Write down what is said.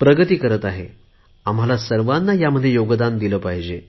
प्रगती करत आहे आम्ही सर्वांनी यामध्ये योगदान दिले पाहिजे